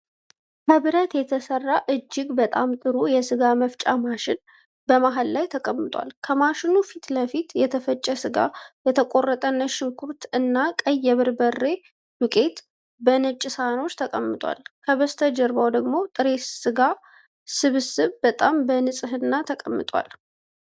ከብረት የተሰራ እጅግ በጣም ጥሩ የስጋ መፍጫ ማሽን በመሃል ላይ ተቀምጧል። ከማሽኑ ፊት ለፊት የተፈጨ ስጋ፣ የተቆረጠ ነጭ ሽንኩርት እና ቀይ የበርበሬ ዱቄት በነጭ ሳህኖች ተቀምጧል። ከበስተጀርባው ደግሞ ጥሬ የስጋ ስብስብ በጣም በንጽህና ተቀምጧል።